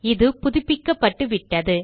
இது புதுப்பிக்கப்பட்டு விட்டது